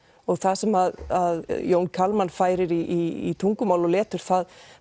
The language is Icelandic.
það sem að Jón Kalman færir í tungumál og letur það